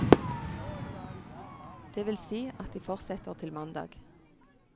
Det vil si at de fortsetter til mandag.